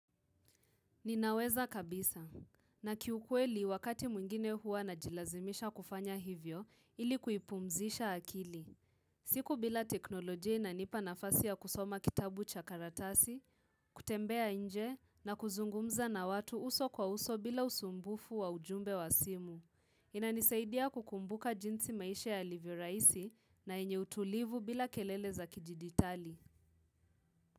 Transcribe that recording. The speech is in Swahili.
Ninaweza kabisa. Na kiukweli wakati mwingine huwa na jilazimisha kufanya hivyo ili kuipumzisha akili. Siku bila teknoloja inanipa nafasi ya kusoma kitabu cha karatasi, kutembea nje na kuzungumza na watu uso kwa uso bila usumbufu wa ujumbe wa simu. Inanisaidia kukumbuka jinsi maisha yalivyo rahisi na yenye utulivu bila kelele za kijiditali.